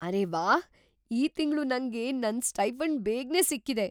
ಅರೇ ವಾಹ್! ಈ ತಿಂಗ್ಳು ನಂಗೆ ನನ್ ಸ್ಟೈಫಂಡ್ ಬೇಗ್ನೇ ಸಿಕ್ಕಿದೆ!